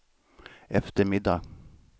eftermiddag